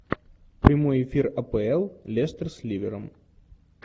прямой эфир апл лестер с ливером